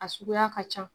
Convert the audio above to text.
A suguya ka ca